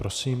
Prosím.